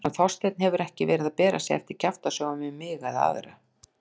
Hann Þorsteinn hefur ekki verið að bera sig eftir kjaftasögum um mig eða aðra.